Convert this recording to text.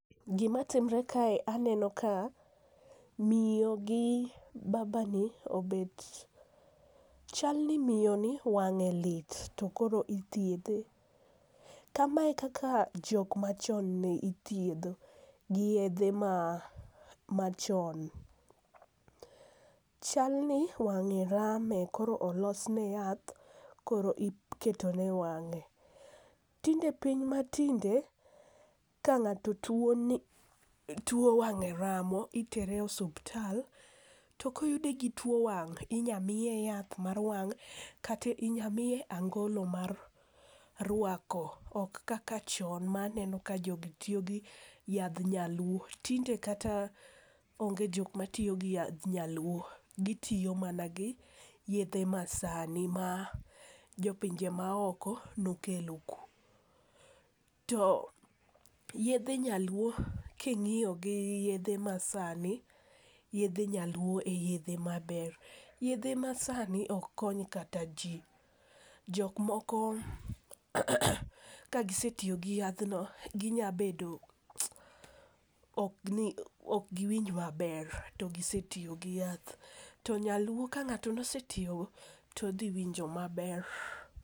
Gimatimre kae aneno ka miyo gi babani obet ,chalni miyoni wang'e lit to koro ithiedhe. Kamae e kaka jok machon ne ithiedho gi yedhe machon. Chalni wang'e rame, koro olosne yath koro iketone e wang'e, tinde piny matinde, ka ng'ato tuwo, wang'e ramo, itere osuptal, to koyude gi tuwo wang' inya miye yath mar wang' kata inya miye angolo mar rwako, ok kaka chon ma aneno ka jogi tiyo gi yadh nyaluo, tinde kata onge jok matiyo gi yadh nyaluo. Gitiyo mana gi yedhe ma sani ma jopinje maoko nokelo ku. To yedhe nyaluo king'iyo gi yedhe masani, yedhe nyaluo e yedhe maber. Yedhe ma sani ok kony kata ji, jok moko kagisetiyo gi yadhno, ok giwinj maber to gisetiyo gi yath, to nyaluo ka ng'ato nosetiyogo, to odhi winjo maber.